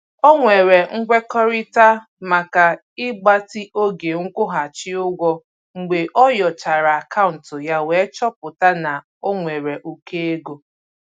O nwere nkwekọrịta maka ịgbatị oge nkwụghachị ụgwọ mgbe ọ nyochara akaụntụ ya wee chọpụta na o nwere ụkọ ego.